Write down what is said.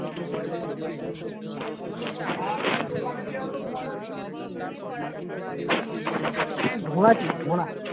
ঢোঁড়া তে ঢোঁড়া